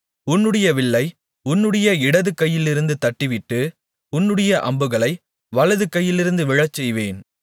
உன்னுடைய வில்லை உன்னுடைய இடதுகையிலிருந்து தட்டிவிட்டு உன்னுடைய அம்புகளை வலது கையிலிருந்து விழச்செய்வேன்